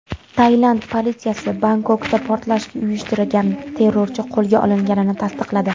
Tailand politsiyasi Bangkokda portlash uyushtirgan terrorchi qo‘lga olinganini tasdiqladi.